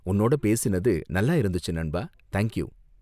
உன்னோட பேசினது நல்லா இருந்துச்சு நண்பா! Thank you!